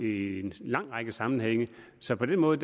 i en lang række sammenhænge så på den måde